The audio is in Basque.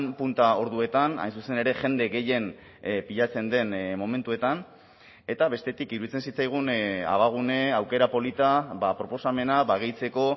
punta orduetan hain zuzen ere jende gehien pilatzen den momentuetan eta bestetik iruditzen zitzaigun abagune aukera polita proposamena gehitzeko